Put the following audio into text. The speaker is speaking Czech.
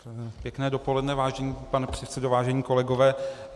Pěkné dopoledne, vážený pane předsedo, vážení kolegové.